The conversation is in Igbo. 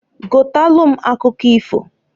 Gotalu m akụkọ ifoǃ